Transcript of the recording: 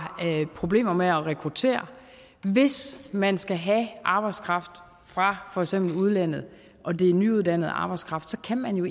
problemer med at rekruttere hvis man skal have arbejdskraft fra for eksempel udlandet og det er en nyuddannet arbejdskraft kan man jo